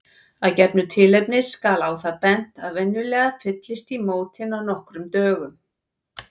Af gefnu tilefni skal á það bent að venjulega fyllist í mótin á nokkrum dögum.